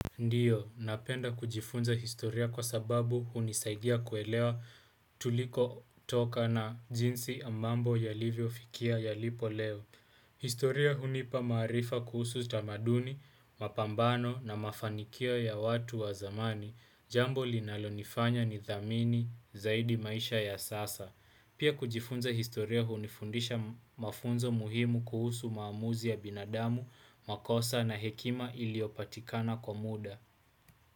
Ndiyo, napenda kujifunza historia kwa sababu hunisaidia kuelewa tulikotoka na jinsi mambo yalivyofikia yalipo leo historia hunipa maarifa kuhusu tamaduni, mapambano na mafanikio ya watu wa zamani. Jambo linalonifanya nithamini zaidi maisha ya sasa. Pia kujifunza historia hunifundisha mafunzo muhimu kuhusu maamuzi ya binadamu, makosa na hekima iliyopatikana kwa muda.